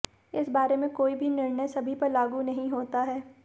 इस बारे में कोई भी निर्णय सभी पर लागू नहीं होता है